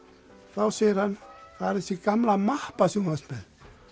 þá segir hann það er þessi gamla mappa sem þú varst með